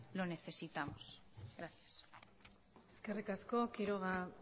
lo necesitamos gracias eskerrik asko quiroga